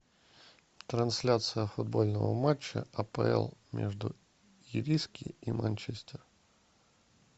трансляция футбольного матча апл между ириски и манчестер